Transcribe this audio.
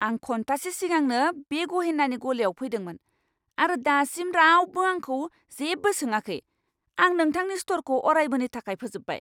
आं घन्टासे सिगांनो बे गहेनानि गलायाव फैदोंमोन आरो दासिम रावबो आंखौ जेबो सोङाखै। आं नोंथांनि स्ट'रखौ अरायबोनि थाखाय फोजोबबाय।